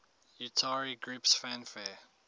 utari groups fanfare